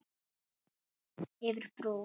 Yfir brú.